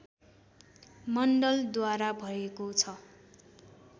मण्डलद्वारा भएको छ